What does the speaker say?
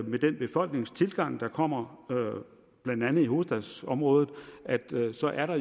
med den befolkningstilgang der kommer blandt andet i hovedstadsområdet jo så er